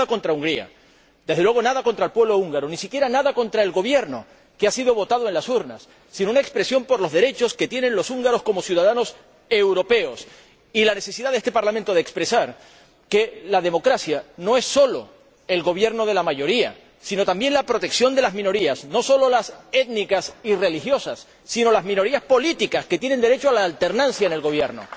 No hay nada contra Hungría —desde luego nada contra el pueblo húngaro, ni siquiera nada contra el Gobierno, que ha sido votado en las urnas—, sino una preocupación por los derechos que tienen los húngaros como ciudadanos europeos, y la necesidad de que este Parlamento exprese que la democracia no es solo el gobierno de la mayoría, sino, también, la protección de las minorías, no solo las étnicas y religiosas, sino las minorías políticas que tienen derecho a la alternancia en el gobierno.